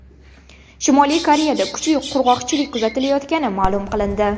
Shimoliy Koreyada kuchli qurg‘oqchilik kuzatilayotgani ma’lum qilindi.